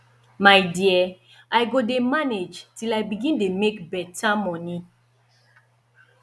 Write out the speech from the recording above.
my dear i go dey manage till i begin dey make beta moni